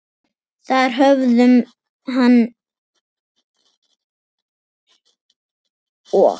Þar höfðu hann og